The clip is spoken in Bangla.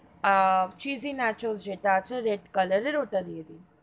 আহ fusy natural যেটা আছে red colour এর ওটা দিয়ে দিন.